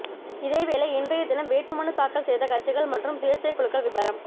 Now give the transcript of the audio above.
இதேவேளை இன்றைய தினம் வேட்பு மனுத்தாக்கல் செய்த கட்சிகள் மற்றும் சுயேட்சை குழுக்கள் விபரம்